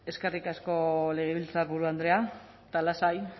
eskerrik asko legebiltzarburu andrea eta lasai